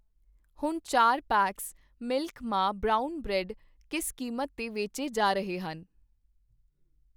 ਹੁਣ ਚਾਰ packs milk ਮਾ ਬਰਾਊਨ ਬ੍ਰੈਡ ਕਿਸ ਕੀਮਤ 'ਤੇ ਵੇਚੇ ਜਾ ਰਹੇ ਹਨ ?